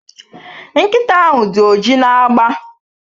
Nkịta ahụ dị oji na agba